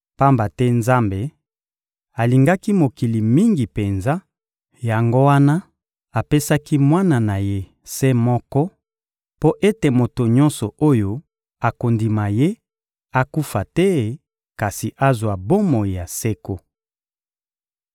Pamba te Nzambe alingaki mokili mingi penza, yango wana apesaki Mwana na Ye se moko, mpo ete moto nyonso oyo akondima Ye akufa te kasi azwa bomoi ya seko.